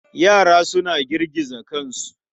Yara suna girgiza kansu.